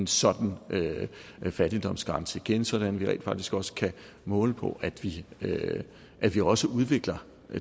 sådan fattigdomsgrænse igen sådan at vi rent faktisk også kan måle på at vi at vi også udvikler